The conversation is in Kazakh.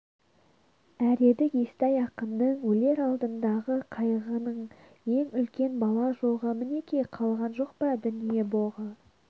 әредік естай ақынның өлер алдындағы қайғының ең үлкен бала жоғы мінеки қалған жоқ па дүние боғы